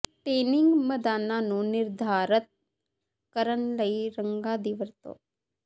ਟੀਨਿੰਗ ਮੈਦਾਨਾਂ ਨੂੰ ਨਿਰਧਾਰਤ ਕਰਨ ਲਈ ਰੰਗਾਂ ਦੀ ਵਰਤੋਂ